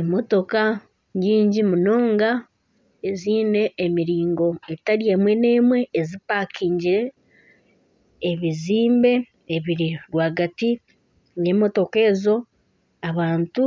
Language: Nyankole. Emotoka nyingi munonga eziine emiringo etari emwe n'emwe ezipakingire. Ebizimbe ebiri rwagati rw'emotoka ezo, abantu